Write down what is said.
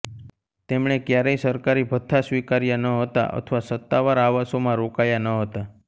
તેમણે ક્યારેય સરકારી ભથ્થા સ્વીકાર્યા ન હતા અથવા સત્તાવાર આવાસોમાં રોકાયા ન હતા